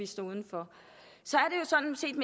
stå uden for så